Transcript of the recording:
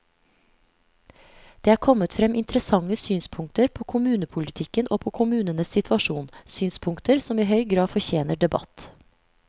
Det er kommet frem interessante synspunkter på kommunepolitikken og på kommunenes situasjon, synspunkter som i høy grad fortjener debatt.